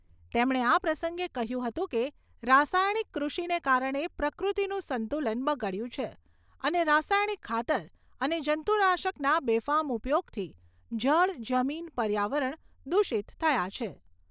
તેમણે આ પ્રસંગે કહ્યું હતું કે રાસાયણિક કૃષિને કારણે પ્રકૃતિનું સંતુલન બગડ્યું છે અને રાસાયણિક ખાતર અને જંતુનાશકના બેફામ ઉપયોગથી જળ જમીન, પર્યાવરણ દૂષિત થયા છે.